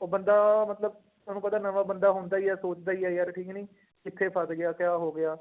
ਉਹ ਬੰਦਾ ਮਤਲਬ ਤੁਹਾਨੂੰ ਪਤਾ ਨਵਾਂ ਬੰਦਾ ਹੁੰਦਾ ਹੀ ਹੈ ਸੋਚਦਾ ਹੀ ਹੈ ਯਾਰ ਕਿ ਨਹੀਂ ਕਿੱਥੇ ਫਸ ਗਿਆ ਕਿਆ ਹੋ ਗਿਆ।